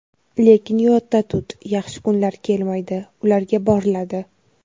Lekin yodda tut, yaxshi kunlar "kelmaydi", ularga "boriladi".